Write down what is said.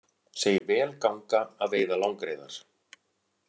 Segir vel ganga að veiða langreyðar